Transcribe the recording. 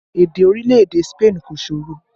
Èdè orílẹ̀ èdè Spain kò ṣòro